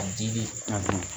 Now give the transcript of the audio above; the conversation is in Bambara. A dili